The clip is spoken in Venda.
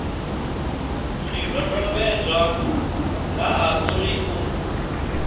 zwidodombedzwa nga ha uri u